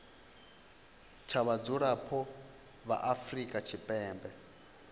sa vhadzulapo vha afrika tshipembe